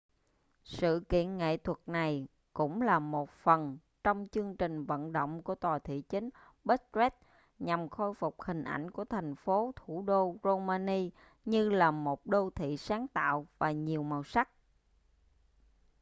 sự kiện nghệ thuật này cũng là một phần trong chương trình vận động của tòa thị chính bucharest nhằm khôi phục hình ảnh của thành phố thủ đô romania như là một đô thị sáng tạo và nhiều màu sắc